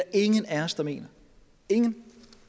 ingen af os der mener ingen